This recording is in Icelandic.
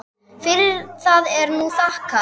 Fyrir það er nú þakkað.